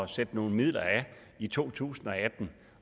sætte nogle midler af i to tusind